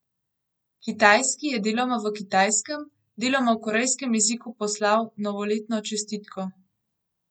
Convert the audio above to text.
Kitajski je deloma v kitajskem, deloma v korejskem jeziku poslal novoletno čestitko.